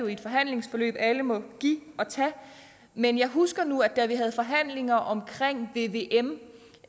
i et forhandlingsforløb alle må give og tage men jeg husker nu at da vi havde forhandlinger om vvm